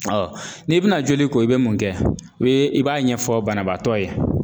n'i bɛna joli ko i bɛ mun kɛ? I b'a ɲɛfɔ banabaatɔ ye.